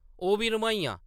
ओह्‌‌ बी रम्हाइयां ।